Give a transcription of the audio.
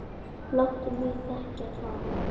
Láttu mig þekkja það!